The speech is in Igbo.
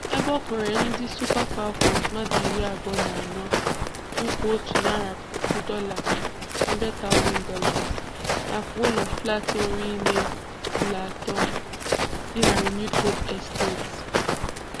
Ébé ọ kwèrè ndị Super Falcons mmadụ iri abụọ na anọ nkwa otu narị puku dọla ($100,000) nakwa ụlọ flat nwere ìmé ụlọ atọ dị na Renewed Hope Estate.